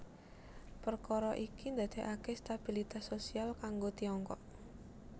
Perkara iki ndadekake stabilitas sosial kanggo Tiongkok